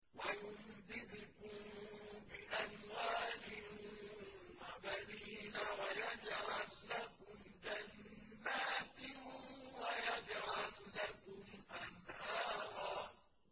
وَيُمْدِدْكُم بِأَمْوَالٍ وَبَنِينَ وَيَجْعَل لَّكُمْ جَنَّاتٍ وَيَجْعَل لَّكُمْ أَنْهَارًا